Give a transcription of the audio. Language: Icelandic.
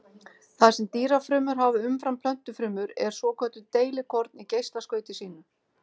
Það sem dýrafrumur hafa umfram plöntufrumur eru svokölluð deilikorn í geislaskauti sínu.